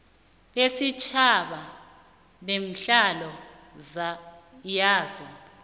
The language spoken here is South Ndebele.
besitjhaba nehlalo yaso